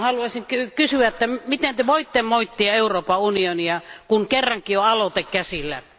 Haluaisin kysyä, miten Te voitte moittia Euroopan unionia, kun kerrankin on aloite käsiteltävänä?